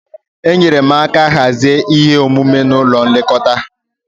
Enyere m aka hazie ihe omume n'ụlọ nlekọta.